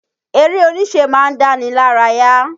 Eré oníṣe ma ń dáni lárayá.